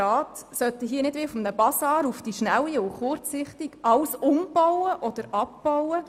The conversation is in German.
Rat sollten nicht wie auf einem Bazar auf die Schnelle alles um- oder abbauen.